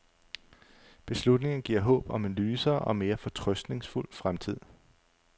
Beslutningen giver håb om en lysere og mere fortrøstningsfuld fremtid.